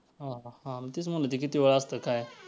हां हां तेच म्हंटल ते किती वेळ असतं काय.